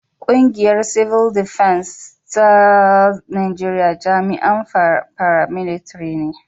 Kungiyar Tsaro ta Cibil Defens ta Najeriya jami'an fara milita ne.